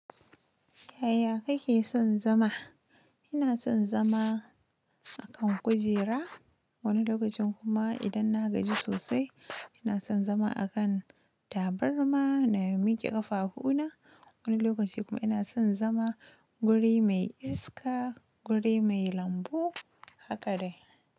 Yaya kake son zama? Ina son zama a kan kujera wani lokacin kuma idan nagaji sosai ina san zama akan tabarma na mike kafafuna, wani lokacin kuma ina san zama guri mai iska, guri mai lambu haka dai.